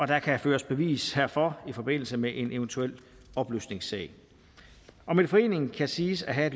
der kan føres bevis herfor i forbindelse med en eventuel opløsningssag om en forening kan siges at have